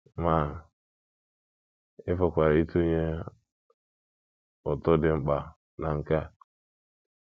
Ma ị pụkwara ịtụnye ụtụ dị mkpa na nke a.